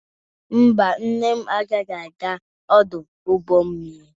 Mba, nne m agaghị aga ọdụ ụgbọ mmiri.